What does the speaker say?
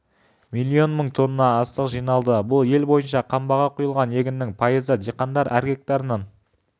миллион мың тонна астық жиналды бұл ел бойынша қамбаға құйылған егіннің пайызы диқандар әр гектарынан